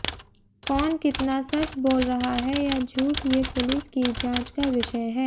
कौन कितना सच बोल रहा है या झूठ ये पुलिस की जांच का विषय है